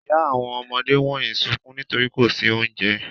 Ìyá àwọn ọmọdé wọ̀nyí sunkún nítorí kò sí oúnjẹ.